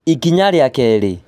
Ikinya rĩa kerĩ